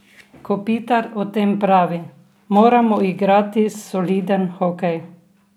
Kopitar o tem pravi: "Moramo igrati soliden hokej.